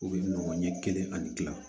U bɛ nɔgɔ ɲɛ kelen ani